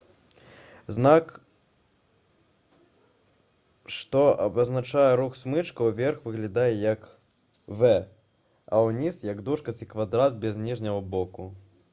знак што абазначае рух смычка ўверх выглядае як «v» а ўніз — як дужка ці квадрат без ніжняга боку